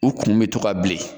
U kun bɛ to ka bilen